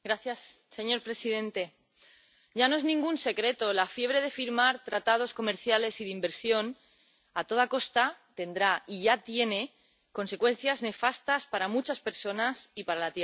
Señor presidente, ya no es ningún secreto la fiebre de firmar tratados comerciales y de inversión a toda costa tendrá —y ya tiene― consecuencias nefastas para muchas personas y para la Tierra.